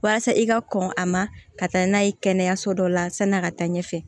Walasa i ka kɔn a ma ka taa n'a ye kɛnɛyaso dɔ la san'i a ka taa ɲɛfɛ